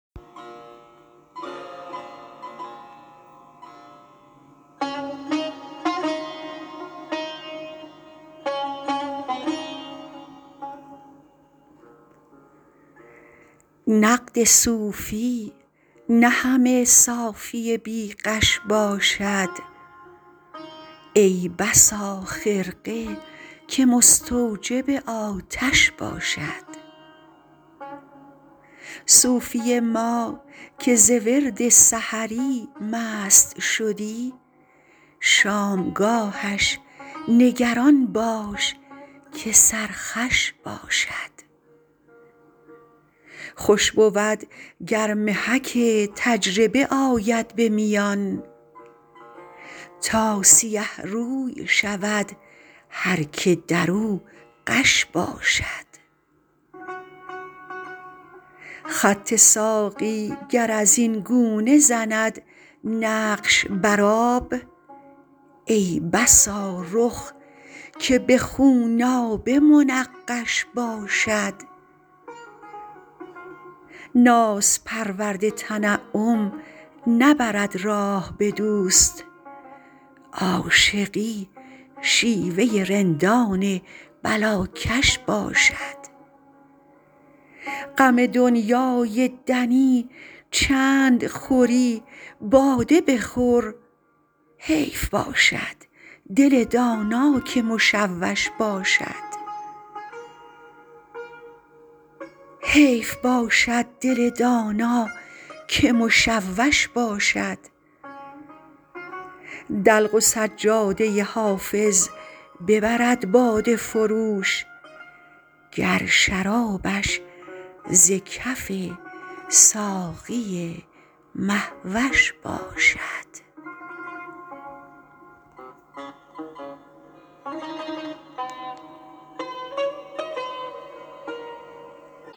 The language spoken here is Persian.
نقد صوفی نه همه صافی بی غش باشد ای بسا خرقه که مستوجب آتش باشد صوفی ما که ز ورد سحری مست شدی شامگاهش نگران باش که سرخوش باشد خوش بود گر محک تجربه آید به میان تا سیه روی شود هر که در او غش باشد خط ساقی گر از این گونه زند نقش بر آب ای بسا رخ که به خونآبه منقش باشد ناز پرورد تنعم نبرد راه به دوست عاشقی شیوه رندان بلاکش باشد غم دنیای دنی چند خوری باده بخور حیف باشد دل دانا که مشوش باشد دلق و سجاده حافظ ببرد باده فروش گر شرابش ز کف ساقی مه وش باشد